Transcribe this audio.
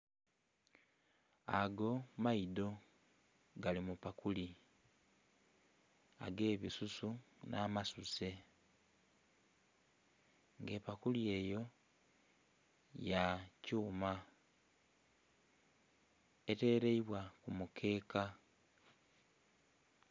Ago maidho gali mu pakuli age bisusu nha masuse nga epakuli eyo ya kyuma eteleibwa ku mukeeka.